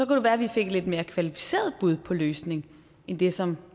det være vi fik et lidt mere kvalificeret bud på løsningen end det som